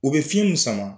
U bɛ fiɲɛ mun sama